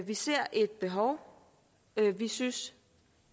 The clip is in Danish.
vi ser et behov vi synes